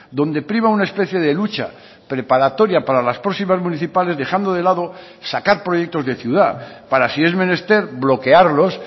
donde priva una especie de lucha preparatoria para las próximas municipales dejando de lado sacar proyectos de ciudad para si es menester bloquearlos